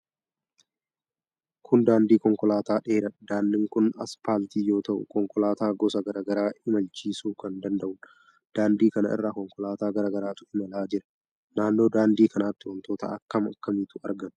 Kun daandii konkolaataa dheeraadha. Daandiin kun aspaaltii yoo ta'u, konkolaataa gosa garaa garaa imalchiisuu kan danda'udha. Daandii kana irra konkolaataa garaa garaatu imalaa jira. Naannoo daandii kanatti wantoota akkam akkamiitu argama?